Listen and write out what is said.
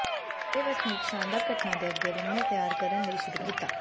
ਸਾਰੇ ਵਸਨੀਕ ਸ਼ਾਨਦਾਰ ਘਟਨਾ ਦੇ ਅੱਗੇ ਲੰਮੇ ਤਿਆਰ ਕਰਨ ਲਈ ਸ਼ੁਰੂ ਕੀਤਾ